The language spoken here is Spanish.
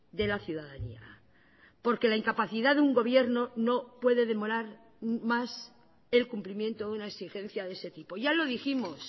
de la ciudadanía porque la incapacidad de un gobierno no puede demorar más el cumplimiento de una exigencia de ese tipo ya lo dijimos